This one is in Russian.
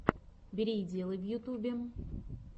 бери и делай в ютубе